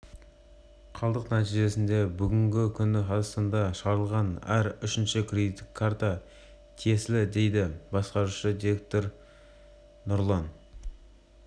қалдық нәтижесінде бүгінгі күні қазақстанда шығарылатын әр үшінші кредиттік карта тиесілі дейді басқарушы директоры нұрлан